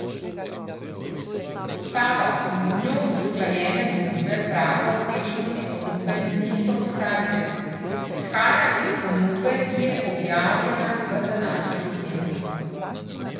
Sava in z njo usklajene družbe praga uspešnosti ponudbe niso postavile, izhaja iz ponudbe, ki je objavljena v današnjem Dnevniku.